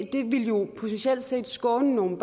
jo potentielt set skåne nogle